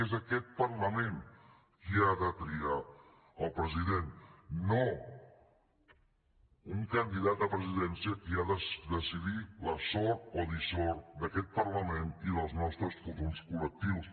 és aquest parlament qui ha de triar el president no un candidat a la presidència qui ha de decidir la sort o dissort d’aquest parlament i dels nostres futurs col·lectius